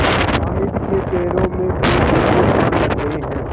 हामिद के पैरों में तो जैसे पर लग गए हैं